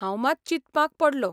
हांव मात चिंतपाक पडलों.